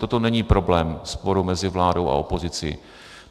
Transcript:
Toto není problém sporu mezi vládou a opozicí.